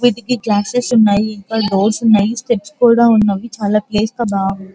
వాటికీ గ్లాస్సెస్ ఉన్నాయి ఇంకా బోర్డ్స్ కూడా ఉన్నాయి స్పెట్స్ కూడా ఉన్నాయి చాల ప్లేస్ గ బాగా --